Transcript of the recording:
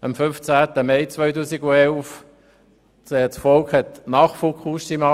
am 15. Mai 2011 zugestimmt, das war nach Fukushima.